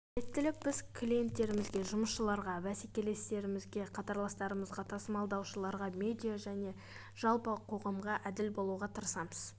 әділеттілік біз клиенттерімізге жұмысшыларға бәсекелестерімізге қатарластарымызға тасымалдаушыларға медиа және жалпы қоғамға әділ болуға тырысамыз